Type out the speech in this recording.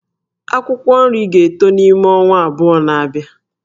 Akwụkwọ nri ga-eto n'ime ọnwa abụọ na-abịa